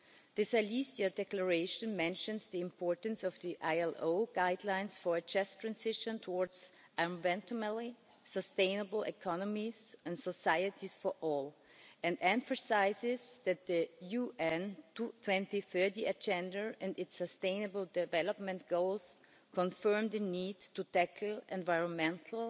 The Silesia Declaration mentions the importance of the ILO guidelines for a just transition towards environmentally sustainable economies and societies for all, and emphasises that the UN 2030 Agenda and its Sustainable Development Goals confirm the need to tackle environmental,